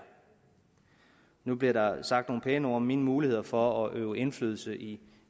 nu blev der sagt nogle pæne ord om mine muligheder for at øve indflydelse i